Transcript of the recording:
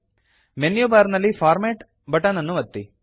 menu bar ನಲ್ಲಿ format button ಅನ್ನು ಒತ್ತಿ